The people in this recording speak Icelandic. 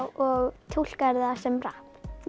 og túlkar það sem rapp já